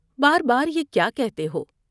بار بار یہ کیا کہتے ہو ۔